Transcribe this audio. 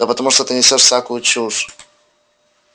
да потому что ты несёшь всякую чушь